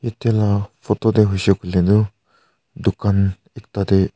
yate la photo tae hoishey koilae tu dukan ekta tae.